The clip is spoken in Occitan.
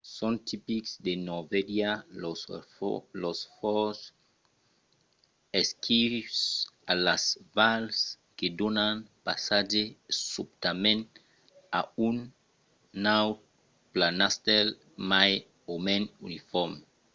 son tipics de norvègia los fjords esquius e las vals que donan passatge subtament a un naut planastèl mai o mens unifòrme